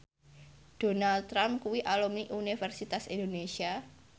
Donald Trump kuwi alumni Universitas Indonesia